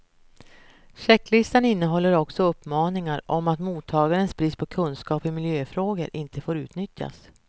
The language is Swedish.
Checklistan innehåller också uppmaningar om att att mottagarens brist på kunskap i miljöfrågor inte får utnyttjas.